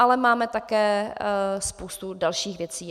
Ale máme také spoustu dalších věcí.